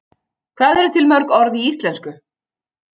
Hvað eru til mörg orð í íslensku?